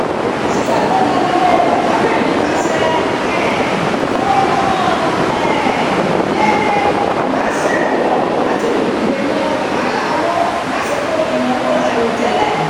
ṣíṣàgbékalẹ̀ owó pàjáwìrì nípasẹ̀ um ìfowópamọ́ um déédé máa ń ṣèrànwọ́ láti dènà wàhálà owó lásìkò ìnáwó àìròtẹ́lẹ̀